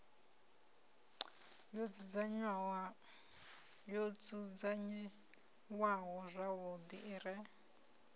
yo dzudzanyiwaho zwavhuḓi i re